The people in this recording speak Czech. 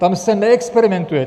Tam se neexperimentuje!